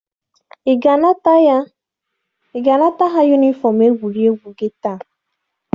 Ị ga-anata ha yunifọm egwuregwu gị taa!